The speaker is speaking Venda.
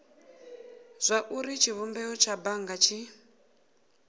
zwauri tshivhumbeo tsha bannga tshi